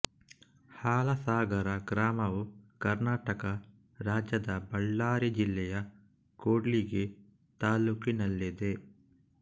ಹಾಲಸಾಗರ ಗ್ರಾಮವು ಕರ್ನಾಟಕ ರಾಜ್ಯದ ಬಳ್ಳಾರಿ ಜಿಲ್ಲೆಯ ಕೂಡ್ಲಿಗಿ ತಾಲ್ಲೂಕಿನಲ್ಲಿದೆ